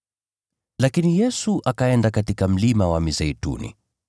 Lakini Yesu akaenda katika Mlima wa Mizeituni.